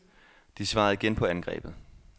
De svarede igen på angrebet.